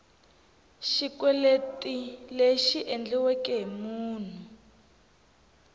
xikweleti lexi endliweke hi munhu